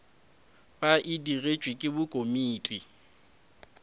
ba e digetšwe ke komiti